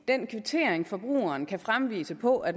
den kvittering forbrugeren kan fremvise på at